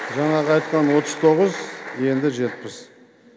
жаңағы айтқан отыз тоғыз енді жетпіс